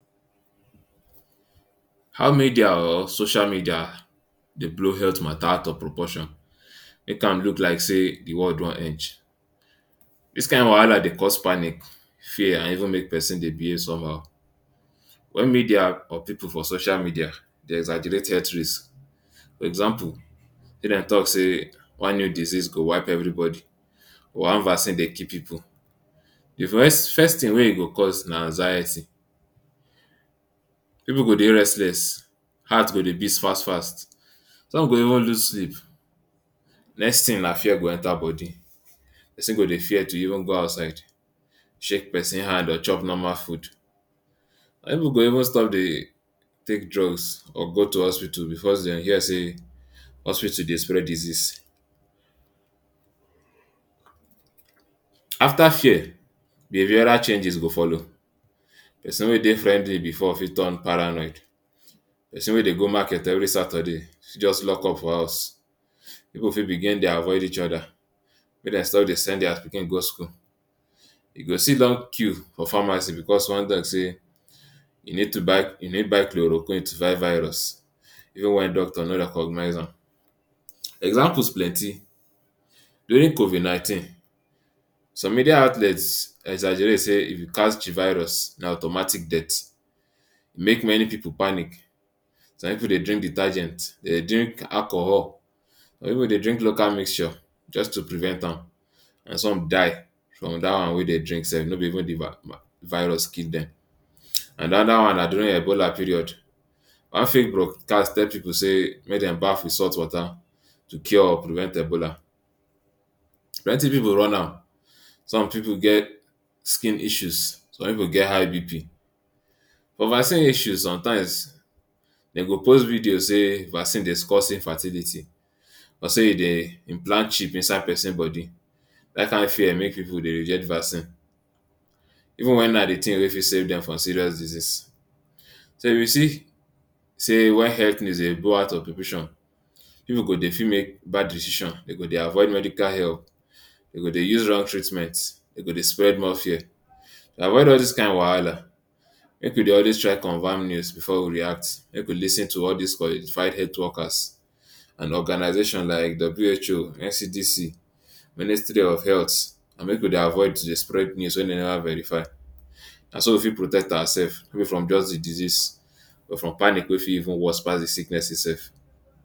How media or social media dey blow health matta out of proportion make am look like say di world don edge. Dis kain wahala dey cause panic, fear and even make pesin dey behave somhow, wen media or pipu for social media dey exaggerate health risk. For example, make dem tok say one new disease go wipe evribodi, one vaccine dey kill pipu. Di first tin wey e go cause na anxiety. Pipu go dey restless, heart go dey beat fast fast, some go even lose sleep. Next tin na fear go enta body. Pesin go dey fear to even go outside, shake pesin hand or chop normal food. pipu go even stop dey take drugs or go to hospital bicos dem hear say hospital dey spread disease. Afta fear, behavioural changes go follow. Pesin wey dey friendly bifor fit turn paranoid. Pesin wey dey go market evri saturday fi just lock up for house. Pipu fit begin dey avoid each oda, make dem stop to send pikin go school. You go see long queue for pharmacy bicos one say you need to buy you need buy choloroquin to vight virus even wen doctor no recognize am. Examples plenty. During covid nineteen, some media outlets exaggerate say if you catch di virus na automatic death. Make many pipu panic. Some pipu dey drink detergent, some dey drink alcohol, some pipu dey drink local mixture just to prevent am. Some die from dat one wey dem drink sef. No no be even virus kill dem. Anoda one na during Ebola period. One fake broadcast tell pipu say make dem baff wit salt water to cure or prevent Ebola. Plenty pipu run am. Some pipu get skin issues, some pipu get high BP. For vaccines issues, somtimes dem go post video say vaccine dey cause infertility plus say e dey implant chip inside pesin body. Dat kain fear make pipu dey reject vaccine even wen na di tin way fit save dem from serious disease. So, if you see say wen health dey out of equation, pipu go dey fit make bad decision. Dem go dey avoid medical help, dey go dey use wrong treatment, dem go dey spread more fear. All dis kain wahala make we dey always try convam news bifor we react. Make we lis ten to all dis qualified health workers and organisations like di WHO, NCDC, Ministry of Health, and make we dey avoid to dey spread news wey never verify. Na so we fit protect oursef even from just di disease or from panic wey fit even worse pass di sicknesses itsef.